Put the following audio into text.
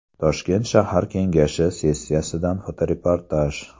Toshkent shahar kengashi sessiyasidan fotoreportaj.